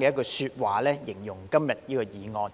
的講話來形容今天這項議案。